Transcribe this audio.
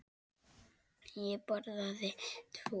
Ég borðaði tvo.